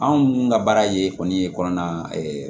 Anw ka baara ye kɔni ye kɔnɔna